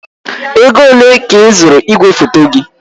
Ego ole ka ịzụrụ igwefoto gị?